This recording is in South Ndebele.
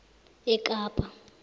ekapa